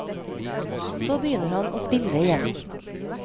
Så begynner han å spille igjen.